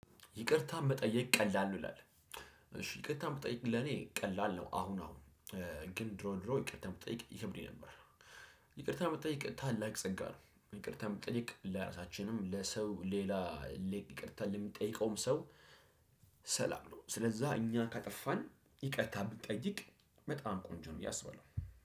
ይቅርታ መጠየቅ ቀላል ነው ይላል? እሺ ይቅርታ መጠየቅ ለኔ ቀላል ነው አሁን አሁን ግን ድሮ ድሮ ይቅርታ መጠየቅ ይከብደኝ ነበር። ይቅርታ መጠየቅ ታላቅ ጸጋ ነው። ይቅርታ መጠየቅ ለራሳችንም ለሰው ሌላ። ይቅርታ ለሚጠይቀውም ሰው ሰላም ነው። ስለዛ እኛ ካጠፋን ይቅርታ ብንጠይቅ በጣም ቆንጆ ነው። ብዬ አስባለሁ